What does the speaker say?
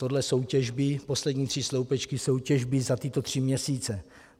Tohle jsou těžby, poslední tři sloupečky jsou těžby za tyto tři měsíce.